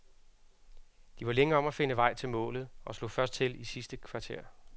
De var længe om at finde vej til målet og slog først til i det sidste kvarter.